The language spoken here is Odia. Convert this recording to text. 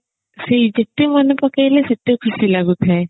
ସେଇ ଯେତେ ମନେ ପକେଇଲେ ସେତେ ଖୁସି ଲାଗୁଥାଏ